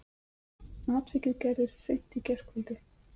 Atvikið gerðist í seint í gærkvöldi